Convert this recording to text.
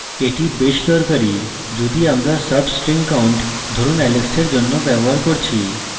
এটি বেশ দরকারী যদি আমরা soস্ট্রিং count ধরুন alex এর জন্য ব্যবহার করছি